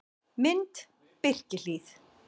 Mynd: Birkihlíð